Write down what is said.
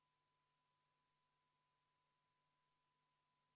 28. muudatusettepaneku on esitanud EKRE fraktsioon.